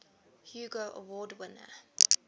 hugo award winner